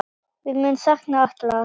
Við munum sakna Atla.